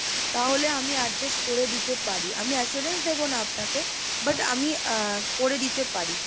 তাহলে আমি adjust করে দিতে পারি, আমি assurance দেব না আপনাকে But আমি আহ করে দিতে পারি।